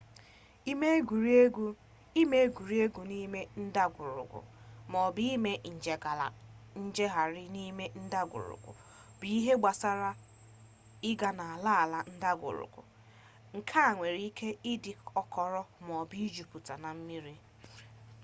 ime egwuregwu n'ime ndagwurugwu maọbụ: ime njegharị n'ime ndagwurugwu bụ ihe gbasara ịga n’ala ala ndagwurugwu nke nwere ike ịdị ọkọrọ maọbụ juputa na mmiri